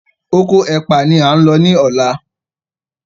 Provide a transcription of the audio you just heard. Okò ẹpa ní a ń ló ní ọlá.